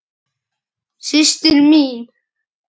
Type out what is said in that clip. Systir mín?